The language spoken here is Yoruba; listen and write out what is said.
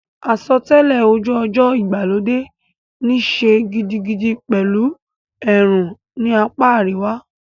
Àsotẹ́lẹ̀ ojú ọjọ́ ìgbàlódé níí ṣe gidigidi pẹ̀lú ẹ̀rùn ní apá àríwá.